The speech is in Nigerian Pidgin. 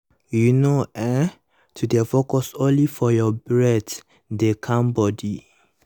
you know[um]to dey focus only for your breath dey calm body